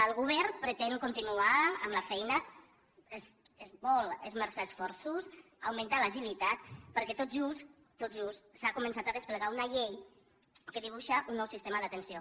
el govern pretén continuar amb la feina es volen esmerçar esforços augmentar l’agilitat perquè tot just tot just s’ha començat a desplegar una llei que dibuixa un nou sistema d’atenció